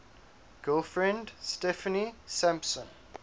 girlfriend steffanie sampson